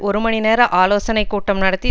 ஒரு மணிநேர ஆலோசனை கூட்டம் நடத்தி